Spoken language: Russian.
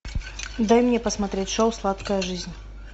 дай мне посмотреть шоу сладкая жизнь